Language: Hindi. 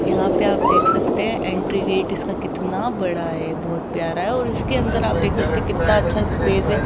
यहां पे आप देख सकते हैं एंट्री गेट इसका कितना बड़ा है बहोत प्यार है और इसके अंदर आप देख सकते कितना अच्छा स्पेस है।